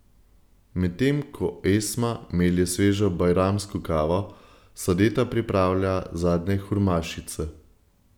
Medtem ko Esma melje svežo bajramsko kavo, Sadeta pripravlja zadnje hurmašice.